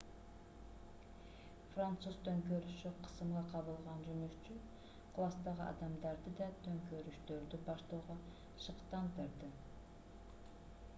француз төңкөрүшү кысымга кабылган жумушчу класстагы адамдарды да төңкөрүштөрдү баштоого шыктандырды